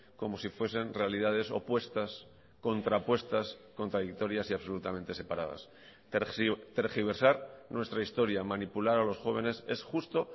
como si fuesen realidades opuestas contrapuestas contradictorias y absolutamente separadas tergiversar nuestra historia manipular a los jóvenes es justo